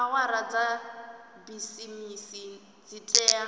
awara dza bisimisi dzi tea